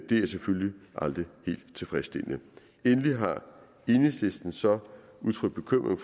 det er selvfølgelig aldrig helt tilfredsstillende endelig har enhedslisten så udtrykt bekymring